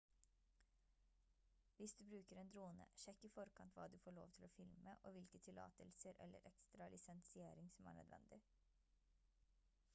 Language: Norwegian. hvis du bruker en drone sjekk i forkant hva du får lov til å filme og hvilke tillatelser eller ekstra lisensiering som er nødvendig